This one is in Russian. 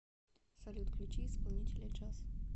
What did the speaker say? салют включи исполнителя джарс